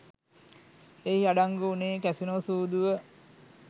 එහි අඩංගු වුණේ කැසිනෝ සූදුව